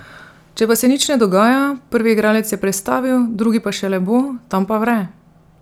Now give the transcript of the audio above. Če pa se nič ne dogaja, prvi igralec je prestavil, drugi pa šele bo, tam pa vre!